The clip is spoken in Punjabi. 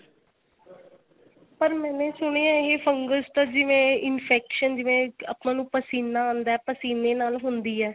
ਪਰ ਮੈਨੇ ਸੁਣਿਆ ਇਹ fungus ਤਾਂ ਜਿਵੇਂ infection ਜਿਵੇਂ ਆਪਾਂ ਨੂੰ ਪਸੀਨਾ ਆਂਦਾ ਪਸੀਨੇ ਨਾਲ ਹੁੰਦੀ ਏ.